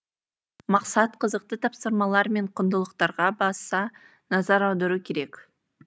мақсат қызықты тапсырмалар мен құндылықтарға баса назар аудару керек